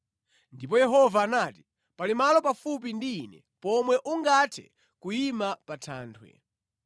Ndipo Yehova anati, “Pali malo pafupi ndi ine pomwe ungathe kuyima pa thanthwe.